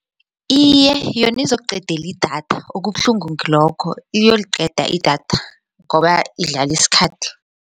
Iye, yona izokuqedela idatha okubuhlungu ngilokho iyoliqeda idatha ngoba idlala isikhathi.